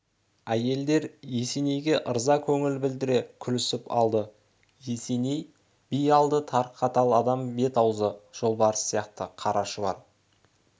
әйелдер есенейге ырза көңіл білдіре күлісіп алды есеней би алды тар қатал адам бет-аузы жолбарыс сияқты қара шұбар